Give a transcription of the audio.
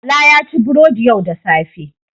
Bala ya ci burodi yau da safe.